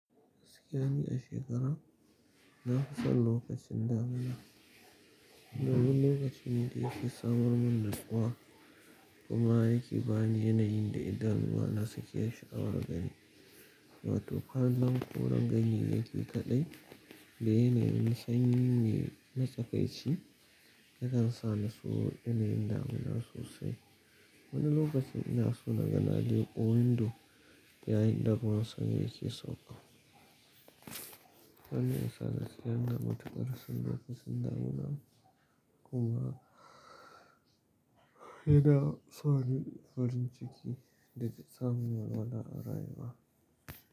Gaskiya ne a shekara, na fi san lokacin damuna. Wani lokaci ne da yake samar min nutsuwa kuma yake bani yanayin da idanuwa na suke sha'awar gani. Wato, kwanan koren ganye yake kaɗai da yanayin sanyi ne na tsakaici yakan sa na so yanayin damuna sosai. Wani lokacin ina so na ga Naje wunda do yayin da ruwan sama yake sauƙa. Wannan yana sa na tsira da matukar son lokacin damuna kuma yana sa ni farin ciki da ta samun walwala a. Rayuwa.